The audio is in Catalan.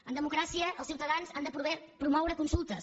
en democràcia els ciutadans han de poder promoure consultes